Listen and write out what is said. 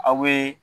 Aw bɛ